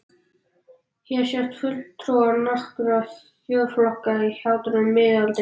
Hér sjást fulltrúar nokkurra þjóðflokka í hjátrú miðalda.